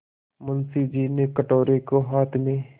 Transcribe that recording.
मुंशी जी ने कटोरे को हाथ में